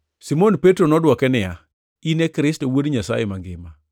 Simon Petro nodwoke niya, “In e Kristo, Wuod Nyasaye Mangima.”